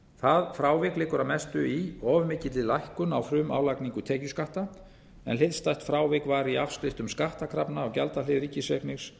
það frávik liggur að mestu í of mikilli lækkun á frumálagningu tekjuskatta en hliðstætt frávik var í afskriftum skattkrafna á gjaldahlið ríkisreiknings